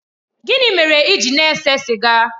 Gịnị mere ị gị na-ese sịga?